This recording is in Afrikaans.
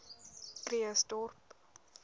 krugersdorp